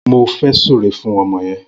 Mó fè sùré fùn ọmọ yèn